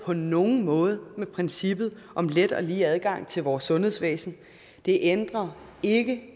på nogen måde med princippet om let og lige adgang til vores sundhedsvæsen det ændrer ikke